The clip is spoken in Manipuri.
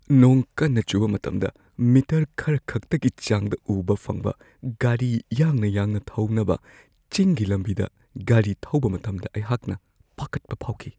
ꯅꯣꯡ ꯀꯟꯅ ꯆꯨꯕ ꯃꯇꯝꯗ ꯃꯤꯇꯔ ꯈꯔꯈꯛꯇꯒꯤ ꯆꯥꯡꯗ ꯎꯕ ꯐꯪꯕ ꯒꯥꯔꯤ ꯌꯥꯡꯅ-ꯌꯥꯡꯅ ꯊꯧꯅꯕ ꯆꯤꯡꯒꯤ ꯂꯝꯕꯤꯗ ꯒꯥꯔꯤ ꯊꯧꯕ ꯃꯇꯝꯗ ꯑꯩꯍꯥꯛꯅ ꯄꯥꯈꯠꯄ ꯐꯥꯎꯈꯤ ꯫